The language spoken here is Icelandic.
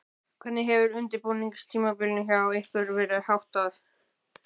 Hvernig hefur undirbúningstímabilinu hjá ykkur verið háttað?